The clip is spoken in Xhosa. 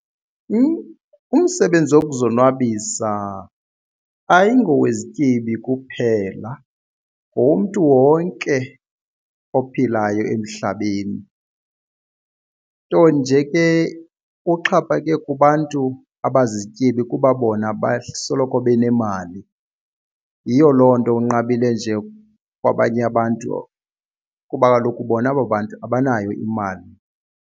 Umsebenzi wokuzonwabisa ayingowezityebi kuphela ngowomntu wonke ophilayo emhlabeni, nto nje ke uxhaphake kubantu abazizityebi kuba bona basoloko benemali. Yiyo loo nto unqabile nje kwabanye abantu kuba kaloku bona aba bantu abanayo imali.